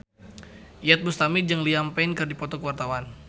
Iyeth Bustami jeung Liam Payne keur dipoto ku wartawan